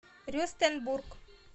рюстенбург